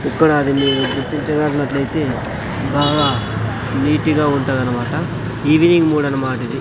ఇక్కడ అది మీరు గుర్తించనట్లైతే బాగా నీటిగా ఉంటదనమాట ఈవినింగ్ గూడ అన్మాటిది.